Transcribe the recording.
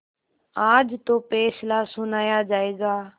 आज तो फैसला सुनाया जायगा